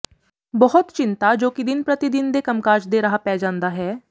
ਬਹੁਤ ਚਿੰਤਾ ਜੋ ਕਿ ਦਿਨ ਪ੍ਰਤੀ ਦਿਨ ਦੇ ਕੰਮਕਾਜ ਦੇ ਰਾਹ ਪੈ ਜਾਂਦਾ ਹੈ